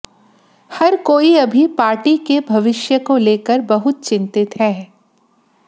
हर कोई अभी पार्टी के भविष्य को लेकर बहुत चिंतित है